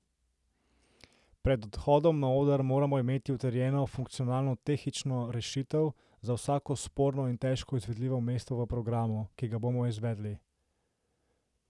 Pred odhodom na oder moramo imeti utrjeno funkcionalno tehnično rešitev za vsako sporno in težko izvedljivo mesto v programu, ki ga bomo izvedli.